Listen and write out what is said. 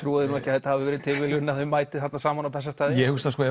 trúi því nú ekki að það hafi verið tilviljun að þau mæti þarna saman á Bessastaði ég hugsa sko